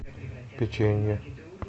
печенье